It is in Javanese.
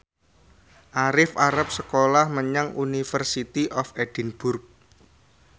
Arif arep sekolah menyang University of Edinburgh